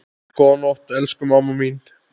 Góða nótt, elsku mamma mín.